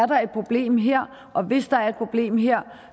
der er et problem her og hvis der er et problem her